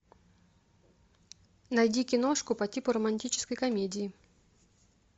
найди киношку по типу романтической комедии